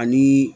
Ani